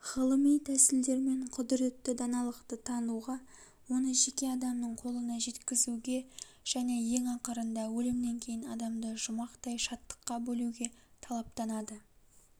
ғылыми тәсілдермен құдіретті даналықты тануға оны жеке адамның қолына жеткізуге және ең ақырында өлімнен кейін адамды жұмақтай шаттыққа бөлеуге талаптанады